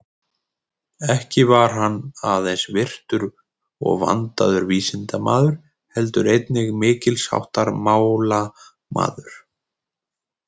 Ekki var hann aðeins virtur og vandaður vísindamaður, heldur einnig mikils háttar málamaður.